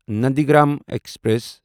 Nandigram express